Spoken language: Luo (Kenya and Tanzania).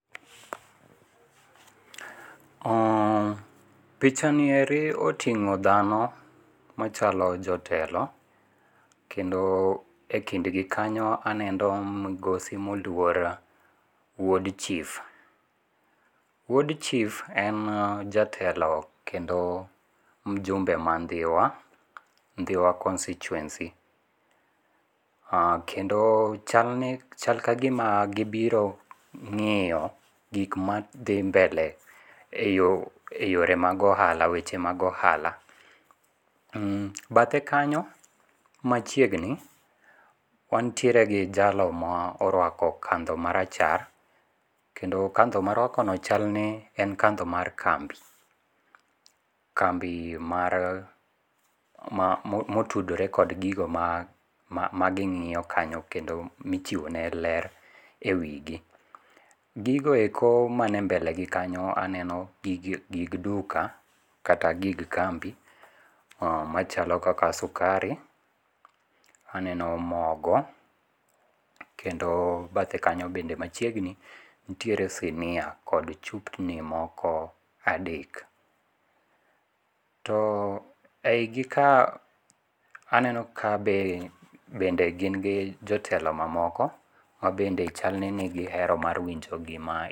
Pichanieri otingo' dhano, machalo jotelo kendo e kindgi kanyo aneno migosi moluor wuod chief, wuod chief en jatelo kendo mjumbe ma dhiwa, dhiwa constituency kendo chal ni chal ka gima gibiro ngi'yo gik ma dhi mbele e yo mag ohala e weche mag ohala. Bathe kanyo machiegni wantiere gi jalo ma orwako katho marachar kendo katho ma orwakono chalni en katho mar kambi, kambi mar otudore kod gigo ma magingi'yo kanyo kendo ma ichiwone ler e wigi, gigoeko manie mbelegi kanyo aneno gig duka kata gig kambi, machalo kaka sukari, aneno mogo kendo bathe kanyo bende machiegni nitiere sinia kod chupni moko adek, to e higi ka aneno ka be bendegingi jotelo mamoko ma bende chalni nigihero mar winjo gima.